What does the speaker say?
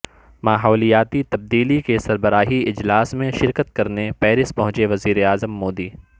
ماحولیاتی تبدیلی کے سربراہی اجلاس میں شرکت کرنے پیرس پہنچے وزیراعظم مودی